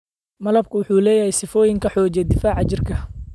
Malabku wuxuu leeyahay sifooyin xoojiya difaaca jirka.